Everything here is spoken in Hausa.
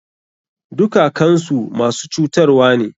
Dukakansu masu cutarwane.